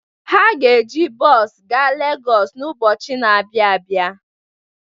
Ha ga-eji bọọsụ gaa Legọsị n'ụbọchị na-abịa abịa.